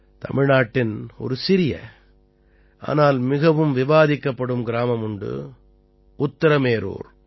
தமிழ்நாட்டின் ஒரு சிறிய ஆனால் மிகவும் விவாதிக்கப்படும் கிராமம் உண்டு உத்திரமேரூர்